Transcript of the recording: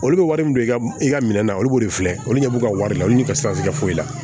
Olu bɛ wari min don i ka i ka minɛ na olu b'o de filɛ olu ɲɛ b'u ka wari la olu de ka siran i tɛ foyi la